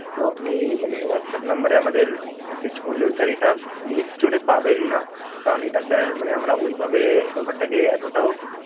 তো আপনি মানে WhatsApp number এ আমাদের message করলেও sir এটা Play Store পাবেন না, কারণ এটা sir মানে আমরা ওইভাবে ব্যাপারটাকে এতোটাও.